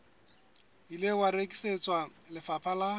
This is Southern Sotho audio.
ile wa rekisetswa lefapha la